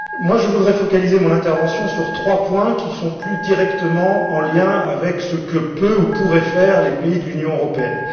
Je voudrais focaliser mon intervention sur trois points, qui sont plus directement liés à ce que peuvent ou pourraient faire les pays de l'Union européenne.